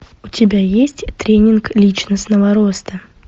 у тебя есть тренинг личностного роста